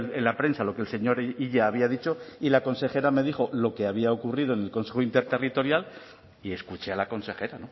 en la prensa lo que el señor illa había dicho y la consejera me dijo lo que había ocurrido en el consejo interterritorial y escuché a la consejera